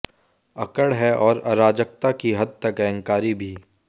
अक्खड़ हैं और अराजकता की हद तक अहंकारी भी